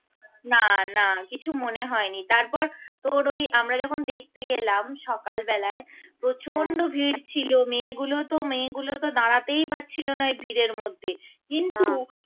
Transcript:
না না কিছু মনে হয়নি তারপর তোর ওই আমরা যখন দেখতে গেলাম সকালবেলায় প্রচন্ড ভীড় ছিল মেয়েগুলো তো মেয়েগুলো তো দাড়াতেই পারছিল না ওই ভীড় এর মধ্যে কিন্তু